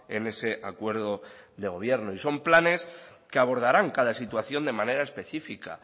en ese acuerdo de gobierno y son planes que abordarán cada situación de manera específica